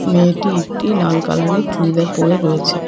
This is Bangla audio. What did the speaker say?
মেয়েটি একটি লাল কালারের চুরিদার পরে রয়েছে।